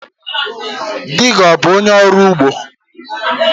Dị gị ọ bụ ọnye orụ ụgbọ?